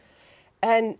en